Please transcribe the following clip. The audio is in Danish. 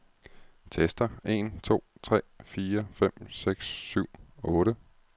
Tester en to tre fire fem seks syv otte.